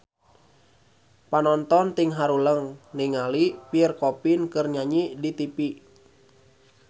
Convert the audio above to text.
Panonton ting haruleng ningali Pierre Coffin keur nyanyi di tipi